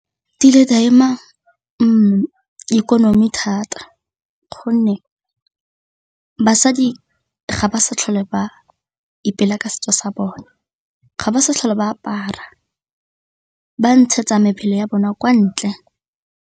Kile ka ema ikonomi thata gonne basadi ga ba sa tlhole ba ipela ka setso sa bone, ga ba sa tlhole ba apara ba ntshetsa mebele ya bona kwa ntle.